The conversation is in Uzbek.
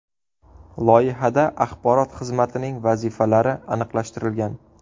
Loyihada axborot xizmatining vazifalari aniqlashtirilgan.